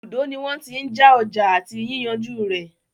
Ibùdó ní wọ́n tí n já ọjà àti yíyànjú rẹ̀.